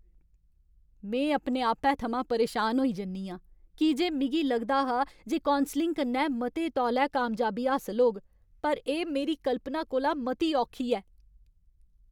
में अपने आपै थमां परेशान होई जन्नी आं की जे मिगी लगदा हा जे कौंसलिंग कन्नै मते तौले कामयाबी हासल होग, पर एह् मेरी कल्पना कोला मती औखी ऐ।